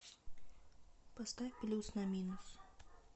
поставь плюс на минус